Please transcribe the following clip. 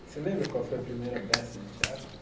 Você lembra qual foi a primeira peça de teatro?